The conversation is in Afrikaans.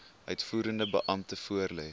uitvoerende beampte voorlê